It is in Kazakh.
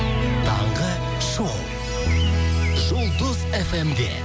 таңғы шоу жұлдыз фм де